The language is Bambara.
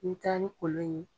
Ni i tala ni kolon in ye.